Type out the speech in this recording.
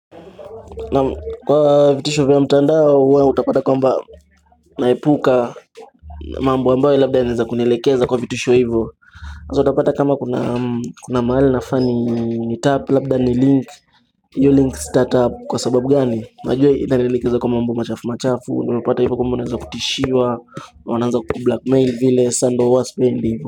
Na kwa vitisho vya mtandao huwa utapata kwamba naepuka mambo ambayo labda yanaeza kunielekeza kwa vitisho hivyo Hasa utapata kama kuna mahali nafaa ni nitap labda ni link hiyo link sitatap kwa sababu gani, najua inanielekeza kwa mambo machafu machafu unapata hivyo kwamba unaeza kutishiwa Wananza kukublakmail vile sa ndo huwa spendi hivyo.